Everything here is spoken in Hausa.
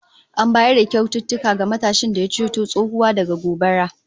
An bayar da kyaututtuka ga matashin da ya ceto tsohuwa daga gobara